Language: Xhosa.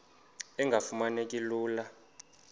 engafuma neki lula